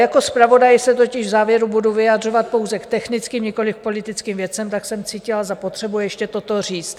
Jako zpravodaj se totiž v závěru budu vyjadřovat pouze k technickým, nikoliv politickým věcem, tak jsem cítila za potřebu ještě toto říct.